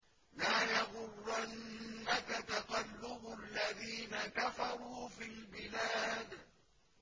لَا يَغُرَّنَّكَ تَقَلُّبُ الَّذِينَ كَفَرُوا فِي الْبِلَادِ